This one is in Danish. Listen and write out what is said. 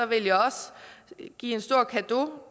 vil jeg også give en stor cadeau